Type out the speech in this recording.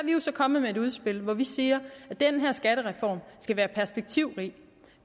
jo så kommet med et udspil hvor vi siger at den her skattereform skal være perspektivrig